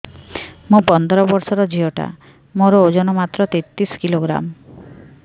ମୁ ପନ୍ଦର ବର୍ଷ ର ଝିଅ ଟା ମୋର ଓଜନ ମାତ୍ର ତେତିଶ କିଲୋଗ୍ରାମ